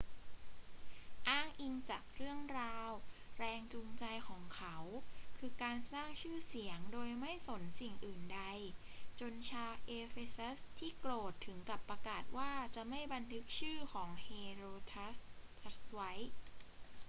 อ้างอิงจากเรื่องราว แรงจูงใจของเขาคือการสร้างชื่อเสียงโดยไม่สนสิ่งอื่นใด จนชาวเอเฟซัสที่โกรธถึงกับประกาศว่าจะไม่บันทึกชื่อของเฮโรสตราทัสไว้